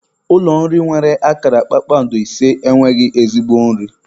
Ụlọ nri nwere akara kpakpando ise enweghị ezigbo nri.